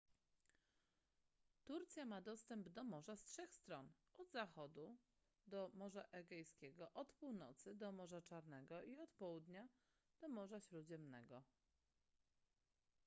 turcja ma dostęp do morza z trzech stron od zachodu do morza egejskiego od północy do morza czarnego i od południa do morza śródziemnego